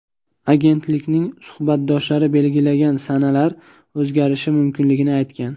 Agentlikning suhbatdoshlari belgilagan sanalar o‘zgarishi mumkinligini aytgan.